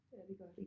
Ja det gør det